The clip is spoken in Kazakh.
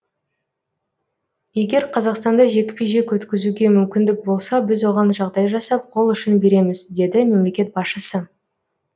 егер қазақстанда жекпе жек өткізуге мүмкіндік болса біз оған жағдай жасап қол ұшын береміз деді мемлекет басшысы